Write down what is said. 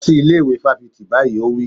Lọ sí ilé ìwé fáfitì báyìí! Ó wí.